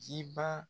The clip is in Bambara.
Ciba